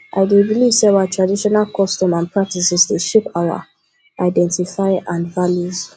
i dey believe say our traditional customs and practices dey shape our identify and values